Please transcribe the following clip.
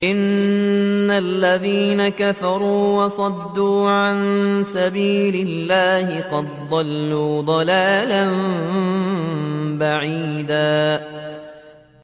إِنَّ الَّذِينَ كَفَرُوا وَصَدُّوا عَن سَبِيلِ اللَّهِ قَدْ ضَلُّوا ضَلَالًا بَعِيدًا